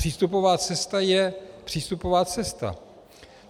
Přístupová cesta je přístupová cesta.